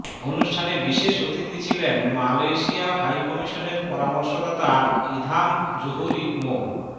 অনুষ্ঠানে বিশেষ অতিথি ছিলেন মালয়েশিয়া হাইকমিশনের পরামর্শদাতা ইধাম জুহরি মো